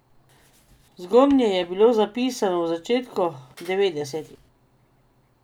Zgornje je bilo zapisano v začetku devetdesetih.